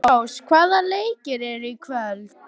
Hafrós, hvaða leikir eru í kvöld?